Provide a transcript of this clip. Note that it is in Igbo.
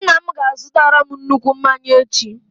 Nna m ga-azutara m nnukwu mmanya echi.